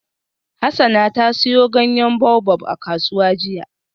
Hassana ta siyo ganyen baobab a kasuwa jiya.